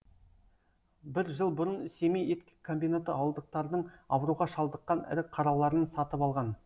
бір жыл бұрын семей ет комбинаты ауылдықтардың ауруға шалдыққан ірі қараларын сатып алған